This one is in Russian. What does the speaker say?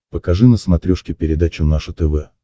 покажи на смотрешке передачу наше тв